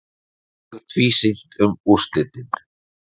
Mjög tvísýnt um úrslitin